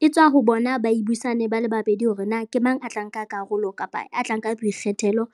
e tswa ho bona ba e buisane ba le babedi hore na ke mang a tla nka karolo kapa a tla nka boikgethelo